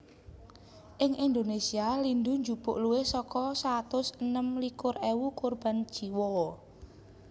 Ing Indonesia lindhu njupuk luwih saka satus enem likur ewu korban jiwa